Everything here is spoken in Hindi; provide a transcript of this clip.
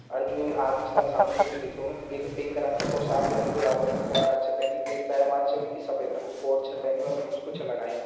और जू य आदमी सा सामणी बिटिन दिखेणु एक पिंक रंग का पोसाक यानि गुलाबी रंग का पोशाक छ पेनी। एक बेरवान छ वीकी सफ़ेद रंग कु कोट छ पह्नयु और मुस्कु छ लगायुं।